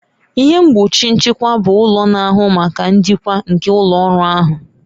Ihe mgbochi nchịkwa bụ ụlọ na-ahụ maka njikwa nke ụlọ ọrụ ahụ